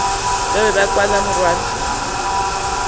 ka be ka kwa morwalo